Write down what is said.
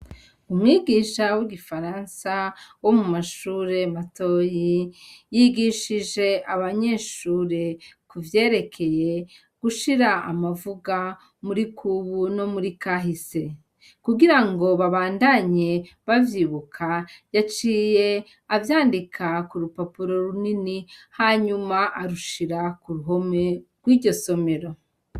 Umwigisha w'igifaransa, wo mu mashure matoyi, yigishije abanyeshure ku vyerekeye gushira amavuga muri kubu no muri kahise; kugira ngo babandanye bavyibuka, yaciye avyandika ku rupapuro runini, hanyuma arushira ku ruhome rw'iryo somero.